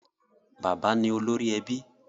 Bàbá ni olórí ẹbí